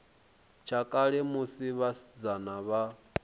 tsha kale musi vhasidzana vha